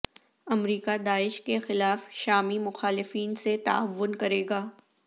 امریکہ داعش کے خلاف شامی مخالفین سے تعاون کرے گا